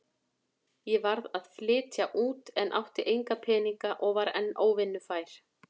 Ég varð að flytja út en átti enga peninga og var enn óvinnufær.